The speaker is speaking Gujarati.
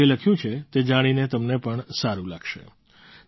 તેમણે જે લખ્યું છે તે જાણીને તમને પણ સારું લાગશે